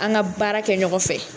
An ga baara kɛ ɲɔgɔn fɛ